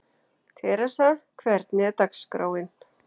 Theresa, hvernig er dagskráin?